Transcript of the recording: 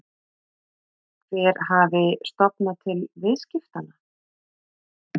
Hver hafi stofnað til viðskiptanna?